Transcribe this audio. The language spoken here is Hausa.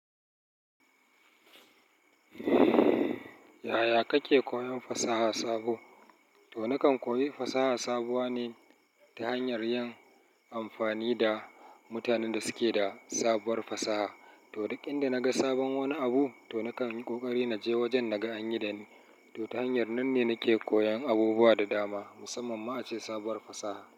Yaya kake koyon fasaha sabo? To nakan koyi fasaha sabuwa ne ta hanyar yin amfani da mutanen da suke da sabuwar fasaha. To duk inda naga sabon wani abu to nakan yi kokari naje wajen naga anyi dani. To ta hanyar nan ne nake koyan abubuwa da dama, musamman ma ace sabuwar fasaha.